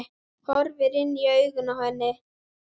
Horfir inn í augun á henni.